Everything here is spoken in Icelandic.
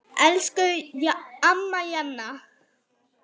Elsku amma Jana.